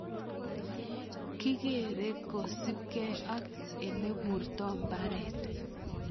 Kikerere kosipkei ak ileburto mbaret.